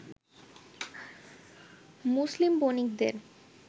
মুসলিম বণিকদের